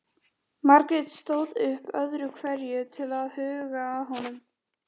Forseti hefur verið beðin að vera viðstödd vígslu Víðistaðakirkju í